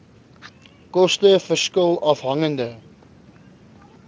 koste verskil afhangende